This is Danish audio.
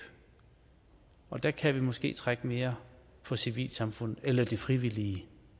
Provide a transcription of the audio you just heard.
og der kan vi måske trække mere på civilsamfundet eller det frivillige